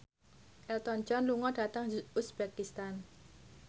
Elton John lunga dhateng uzbekistan